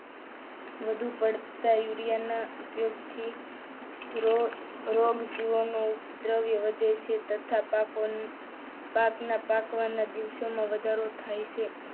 વધુ પડતા દુનિયાના ઉપયોગથી જીવ ઉપદ્રવ્ય વધે છે તથા પાકના પાકવાના દિવસોમાં વધારો થાય છે.